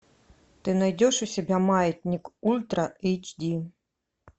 ты найдешь у себя маятник ультра эйч ди